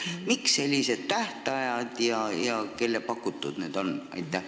Miks sellised tähtajad ja kelle pakutud need on?